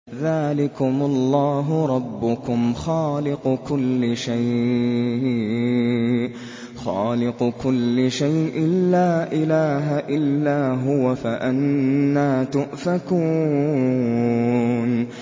ذَٰلِكُمُ اللَّهُ رَبُّكُمْ خَالِقُ كُلِّ شَيْءٍ لَّا إِلَٰهَ إِلَّا هُوَ ۖ فَأَنَّىٰ تُؤْفَكُونَ